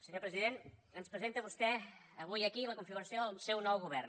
senyor president ens presenta vostè avui aquí la configuració del seu nou govern